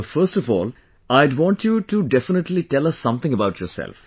First of all, I'd want you to definitely tell us something about yourself